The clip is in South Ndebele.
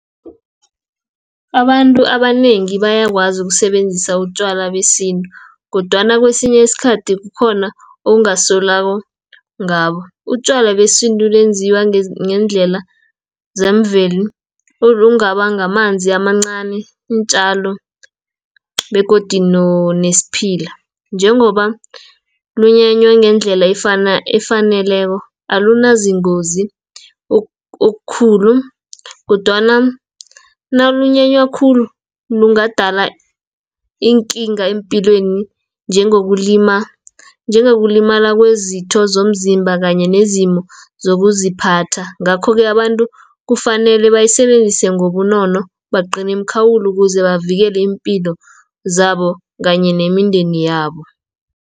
Abantu abanengi bayakwazi ukusebenzisa utjwala besintu, kodwana kwesinye isikhathi kukhona ungasolwako ngabo. Utjwala besintu benziwa ngendlela zemvelo, ngamanzi amancani, iintjalo begodi nesphila. Njengoba bunyanywe ngendlela efaneleko alunazingozi okukhulu, kodwana nabunyenywe khulu bungadala iinkinga eempilweni, njengokulimala kwezinto zomzimba, kanye nezimo zokuziphatha. Ngakho-ke abantu kufanele bayisebenzise ngobunono bagcine iimkhawulo ukuze bavikele iimpilo zabo, kanye nemindeni yabo.